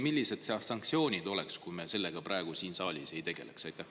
Millised oleksid sanktsioonid, kui me sellega siin praegu ei tegeleks?